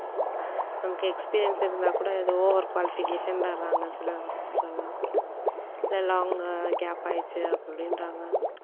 நமக்கு experience இருந்தா கூட ஏதோ over qualification ன்டறாங்க சில officers எல்லாம் இல்ல gap ஆயிடுச்சு அப்படின்றாங்க